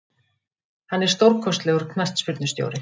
Hann er stórkostlegur knattspyrnustjóri.